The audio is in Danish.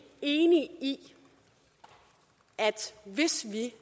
enig i at hvis vi